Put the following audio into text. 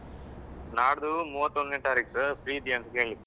ನಾಡ್ದು ಮೂವತ್ತೊಂದ್ನೇ ತಾರೀಕು free ಇದ್ದಿಯಾ ಅಂತ ಕೇಳಿಕ್ಕೆ.